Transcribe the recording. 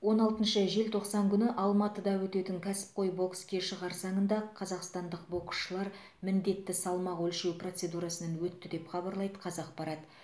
он алтыншы желтоқсан күні алматыда өтетін кәсіпқой бокс кеші қарсаңында қазақстандық боксшылар міндетті салмақ өлшеу процедурасынан өтті деп хабарлайды қазақпарат